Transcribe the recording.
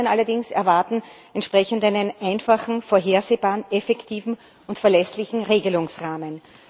Die Bürgerinnen und Bürger allerdings erwarten entsprechend einen einfachen, vorhersehbaren, effektiven und verlässlichen Regelungsrahmen.